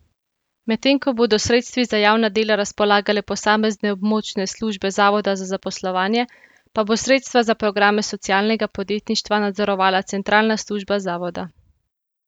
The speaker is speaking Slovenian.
Medtem ko bodo s sredstvi za javna dela razpolagale posamezne območne službe zavoda za zaposlovanje, pa bo sredstva za programe socialnega podjetništva nadzorovala centralna služba zavoda.